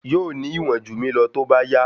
Yóò ní ìwọ̀n jù mí lọ tó bá yá.